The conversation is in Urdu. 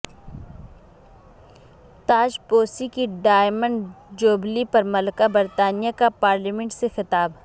تاج پوشی کی ڈائمنڈ جوبلی پر ملکہ برطانیہ کا پارلیمنٹ سے خطاب